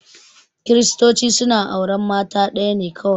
Kiristoci suna auran mata ɗaya ne kawai